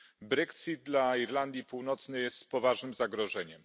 Brexit dla Irlandii Północnej jest poważnym zagrożeniem.